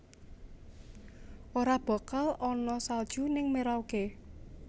Ora bakal ana salju ning Merauke